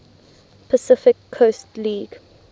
pacific coast league